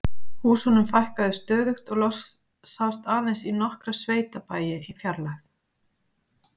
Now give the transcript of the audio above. Húsunum fækkaði stöðugt og loks sást aðeins í nokkra sveitabæi í fjarlægð.